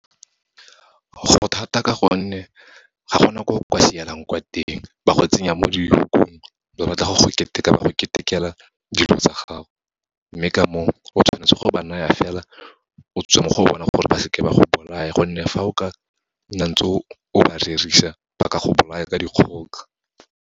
Go thata ka gonne, ga gona ko ka sielang kwa teng, ba go tsenya mo di-lock-ong, ba batla go keteka, ba go ketekela dilo tsa gago. Mme ka moo, o tshwanetse go ba naya fela, o tswe mo go o bona, gore ba seke ba go bolaya, gonne fa o ka nna ntse o ba rerisa ba ka go bolaya ka dikgoka.